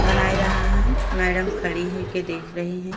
बना रहा हन। मैडम खड़ी हो के देख रही हैं।